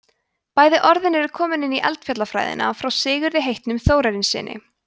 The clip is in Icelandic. bæði orðin eru komin inn í eldfjallafræðina frá sigurði heitnum þórarinssyni